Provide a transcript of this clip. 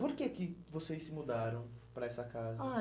Por que que vocês se mudaram para essa casa? Ah